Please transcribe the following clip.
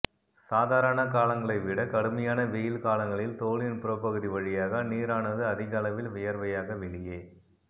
சாதாரண காலங்களைவிட கடுமையான வெய்யில் காலங்களில் தோலின் புறப்பகுதி வழியாக நீரானது அதிக அளவில் வியர்வையாக வெளியே